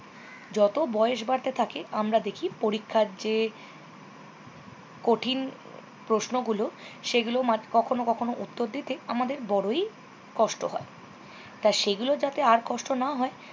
জত বয়স বারতে থাকে আমরা দেখি পরীক্ষার যে কঠিন প্রশ্নগুলো সেগুলো কখনো কখনো উত্তর দিতে আমাদের বড়ই কষ্ট হয়। টা সেগুলো যাতে আর কষ্টও না হয়